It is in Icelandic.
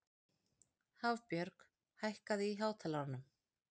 Hafbjörg, hækkaðu í hátalaranum.